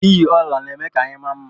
iyi ọla na-eme ka anyị maa mma